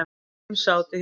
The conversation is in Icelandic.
Fimm sátu hjá.